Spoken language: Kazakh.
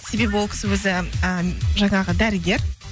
себебі ол кісі өзі ы жаңағы дәрігер